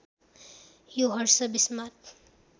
यो हर्ष विस्मात